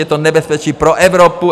Je to nebezpečí pro Evropu.